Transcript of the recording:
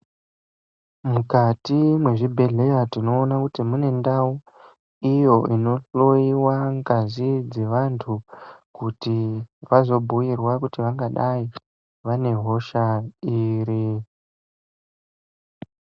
Mukati mwezvibhedhlera tinoona kuti mune ndau iyo inohloyewa ngazi devantu kuti vazobwuyirwa kuti vangadai vane hosha ere?